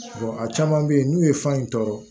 a caman bɛ yen n'u ye fan in tɔɔrɔ